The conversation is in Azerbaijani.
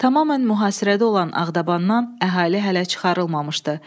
Tamamilə mühasirədə olan Ağdabandan əhali hələ çıxarılmamışdı.